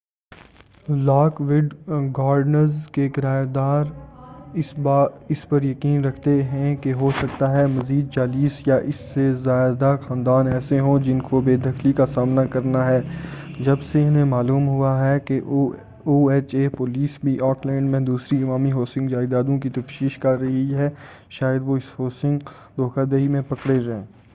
lock would Gardens کے کرایہ دار اس پر یقین رکھتے ہیں کہ ہو سکتا ہے مزید 40 یا اس سے زیادہ خاندان ایسے ہوں جن کو بے دخلی کا سامنا کرنا ہے جب سے انھیں معلوم ہو ہے کہ او ایچ اے پولیس بھی آکلینڈ میں دوسری عوامی ہاؤسنگ جائدادوں کی تفشیش کر رہی ہے شاید وہ اس ہاؤسنگ دھوکہ دہی میں پکڑے جائیں